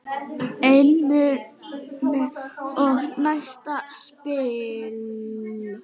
Einn niður og næsta spil.